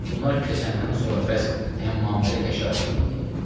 Bunlar keçəndən sonra pəs Əmmaməli həşəratı neyləyək?